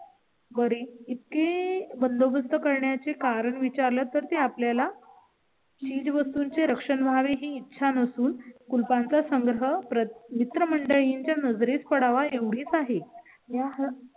बरी इतकी बंदोबस्त करण्याचे कारण विचारलं तर ते आपल्या ला? चीजवस्तू चे रक्षण व्हावे ही इच्छा नसून कुलपांचा संग्रह मित्रमंडळींच्या नजरेस पडावा एवढी आहे. या हसल्या